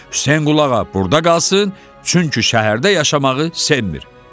Hüseynqulu ağa burda qalsın, çünki şəhərdə yaşamağı sevmir.